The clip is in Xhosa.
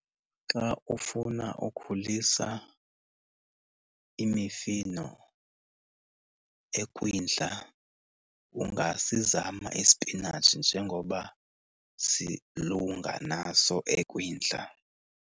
Xa ufuna ukhulisa imifino ekwindla ungasizama isipinatshi njengoba silunga naso ekwindla